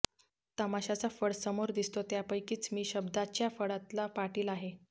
तमाशाचा फड समोर दिसतो त्यापैकीच मी शब्दाच्या फडातला पाटील आहे